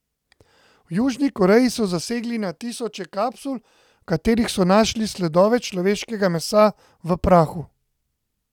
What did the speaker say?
V Južni Koreji so zasegli na tisoče kapsul, v katerih so našli sledove človeškega mesa v prahu.